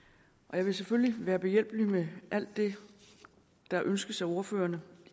jeg vil selvfølgelig være behjælpelig med alt det der ønskes af ordførerne